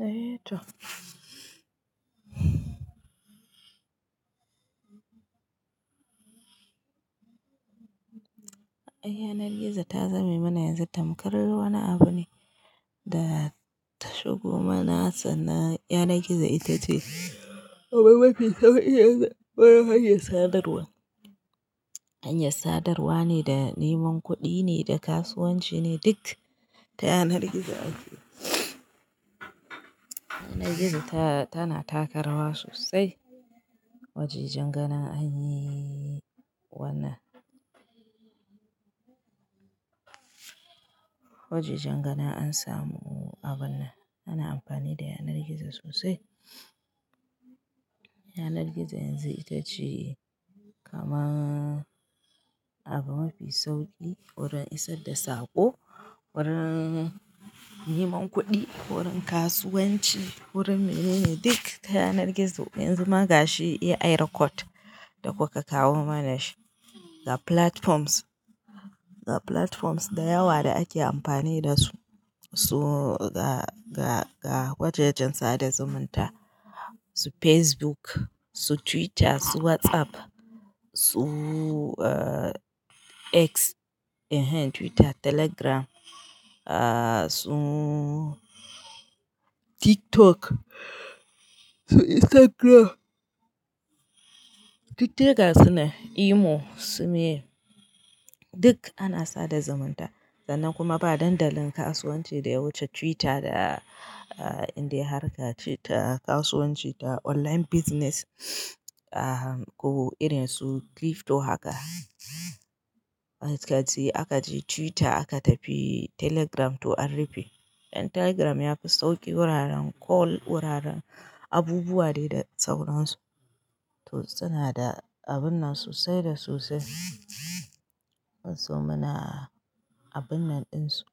Eh toh. Ai, yanar gizo ta zame mana yanzu tamkar wani abu ne da ta shigo mana sannan yanar gizo ita ce. Abin mafi sauki, wurin hanyar sadarwa. Hanyar sadarwa ne da neman kudi ne da kasuwanci ne duk ta yanar gizo ake. Yanar gizo tana takarawa sosai. Wajajen ganin anyi wannan wajajen ganin an samu abun nan ana amfani da yanar gizo sosai. Yanar gizo yanzu ita ce kamar abu mafi sauki wurin isar da sako, wurin neman kuɗi, wurin kasuwanci, wurin menene duk ta yanar gizo. Yanzu ma gashi iya ai recode da kuka kowa mana shi. Ga platforms, ga platforms da yawa da ake amfani da su, su ga, ga, ga wajajen sada zumunta, su Facebook, su Twitter, su WhatsApp, su uh X, eh hen Twitter, Telegram su tiktok su instagram duk dai gasu nan imo su meye duk ana sada zumunta. Sannan kuma ba dandalin kasuwanci da wuce Twitter da inda harka ce ta kasuwanci da online business ko irin su crypto haka. Da gaske aka je Twitter aka tafi Telegram to an rufe. Dan Telegram yafi sauƙi wuraren call wuraren abubuwa dai da sauransu. To suna da abun nan sosai da sosai. Ban so muna abun nan ɗinsu.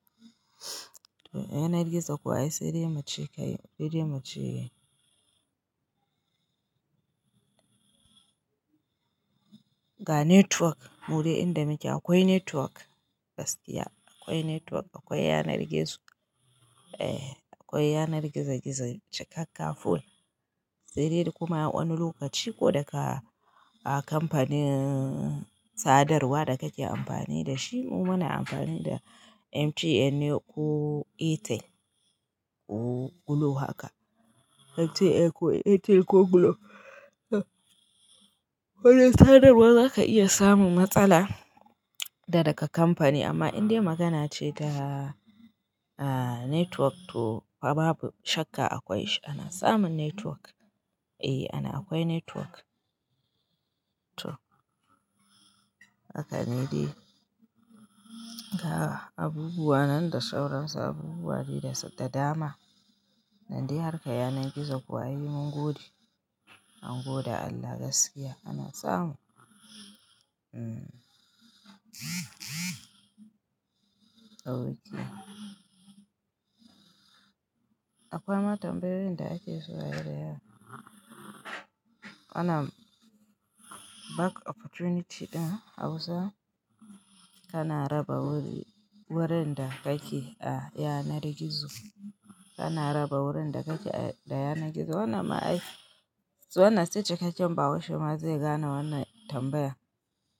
To yanar gizo kuwa ai sai dai muce kai, sai dai muce. Ga network mudai inda muke akwai network gaskiya. Akwai network akwai yanar gizo. Eh akwai yanar gizo gizo cikakka full. Sai dai kuma wani lokaci ko daga a kamfanin sadarwa da kake amfani da shi. Mu muna amfani da MTN ne ko Airtel ko Glo haka. MTN ko Airtel ko Glo. Wurin sadarwa zaka iya samun matsala daga kamfanin amma in dai magana ce ta network toh babu shakka akwai shi ana samun network akwai network eh akwai network to haka ne dai. Ga abubuwa nan da sauransu abubuwa de da dama. Nan dai harka yanar gizo kuwa ai mun gode. An gode Allah gaskiya ana samu. Akwai mata tambayoyin da ake so ayi da yawa. Ana job opportunities hausa kana raba wurinda kake a yanar gizo kana raba wurin da kake da yanar gizo. Wannan ma ai, wannan se cikakken ɓahaushe ma zai gana wannan tambaya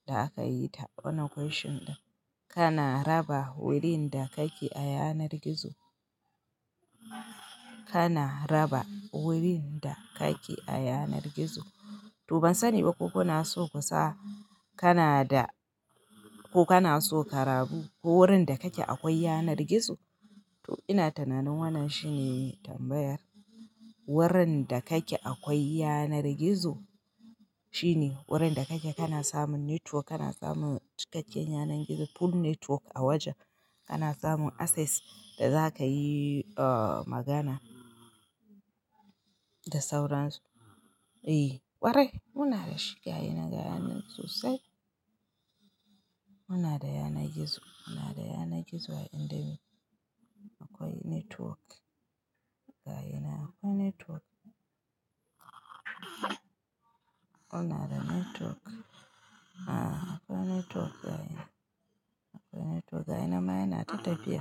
da aka yi ta. Wannan question ɗin. Kana raba wurin da kake a yanar gizo. Kana raba wurin da kake a yanar gizo. To ban sani ba ko kuna so kusa kana da ko kana so karabu ko wurin da kake akwai yanar gizo. To ina tunanin wannan shine tambayar. Wurin da kake akwai yanar gizo shine wurin da kake kana samun network kana samun cikakken yanar gizo full network a wajen. Kana samun access da za ka yi uh magana da sauransu. Eh ƙwarai muna da shi ga yi nan ga yi nan sosai. Muna da yanar gizo muna da yanar gizo inda akwai network. Ga yana akwai network. Muna da network. A akwai network ga yana. Akwai network ga yayinan ma yana ta tafiya.